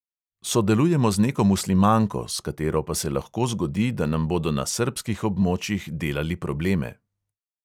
Sodelujemo z neko muslimanko, s katero pa se lahko zgodi, da nam bodo na srbskih območjih delali probleme.